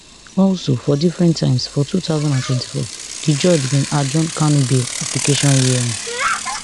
also for different times for two thousand and twenty-four di judge bin adjourn kanu bail application hearing